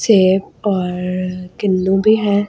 सेब और किवी भी हैं ।